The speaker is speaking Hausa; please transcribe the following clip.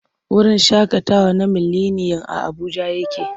Wurin shaƙatawa na mileniyam a Abuja yake.